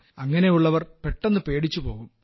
അങ്ങനെയുള്ളവർ പെട്ടെന്ന് പേടിച്ചു പോകും